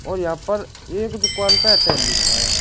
और यहां पर एक दुकान पे एयरटेल लिख रहा है।